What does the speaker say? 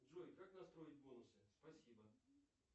джой как настроить бонусы спасибо